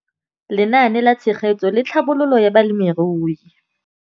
Lenaane la Tshegetso le Tlhabololo ya Balemirui.